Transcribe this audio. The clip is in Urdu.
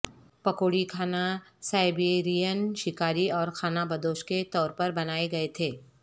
پکوڑی کھانا سائبیرین شکاری اور خانہ بدوش کے طور پر بنائے گئے تھے